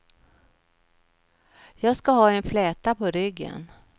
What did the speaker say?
Jag ska ha en fläta på ryggen.